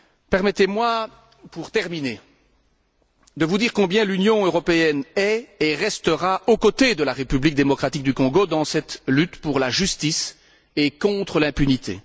Permettez moi, pour terminer, de vous dire combien l'Union européenne est et restera aux côtés de la République démocratique du Congo dans cette lutte pour la justice et contre l'impunité.